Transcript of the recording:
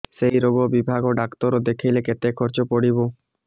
ସେଇ ରୋଗ ବିଭାଗ ଡ଼ାକ୍ତର ଦେଖେଇଲେ କେତେ ଖର୍ଚ୍ଚ ପଡିବ